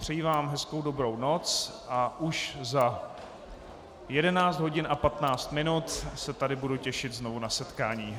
Přeji vám hezkou dobrou noc a už za 11 hodin a 15 minut se tady budu těšit znovu na setkání.